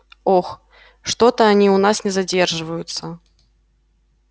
ох что-то они у нас не задерживаются